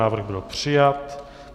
Návrh byl přijat.